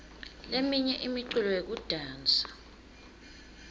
leminye imiculo yekudansa